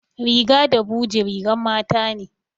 Riga da buje rigan mata ne